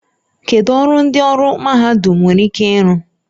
Kedu ọrụ ndị ọrụ mahadum nwere ike ịrụ?